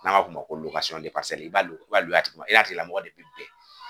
N'an b'a fɔ o ma ko i b'a i b'a i n'a tigi lamɔgɔ de bi bɛn.